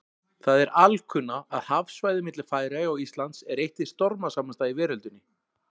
Það er alkunna, að hafsvæðið milli Færeyja og Íslands er eitt hið stormasamasta í veröldinni.